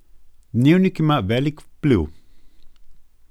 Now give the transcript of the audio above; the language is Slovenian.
Dnevnik ima velik vpliv.